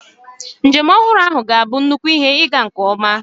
Njem ọhụrụ ahụ ga-abụ nnukwu ihe ịga nke ọma.